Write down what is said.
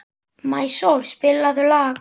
Maísól, spilaðu lag.